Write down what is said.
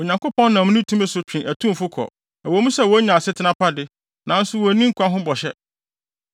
Onyankopɔn nam ne tumi so twe atumfo kɔ; ɛwɔ mu sɛ wonya asetena pa de, nanso wonni nkwa ho bɔhyɛ.